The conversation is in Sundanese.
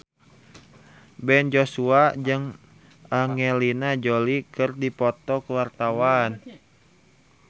Ben Joshua jeung Angelina Jolie keur dipoto ku wartawan